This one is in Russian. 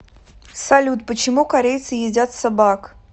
салют почему корейцы едят собак